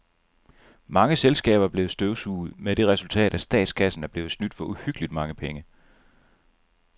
Mange selskaber er blevet støvsuget med det resultat, at statskassen er blevet snydt for uhyggeligt mange penge.